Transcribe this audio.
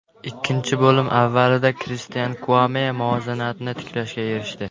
Ikkinchi bo‘lim avvalida Kristian Kuame muvozanatni tiklashga erishdi.